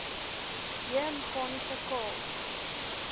j meganiese k